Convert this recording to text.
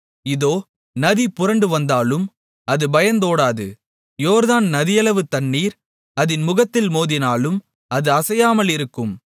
இதோ நதி புரண்டு வந்தாலும் அது பயந்தோடாது யோர்தான் நதியளவு தண்ணீர் அதின் முகத்தில் மோதினாலும் அது அசையாமலிருக்கும்